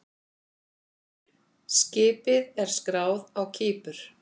Skipið er skráð á Kípur.